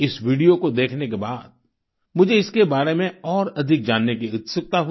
इस वीडियो को देखने के बाद मुझे इसके बारे में और अधिक जानने की उत्सुकता हुई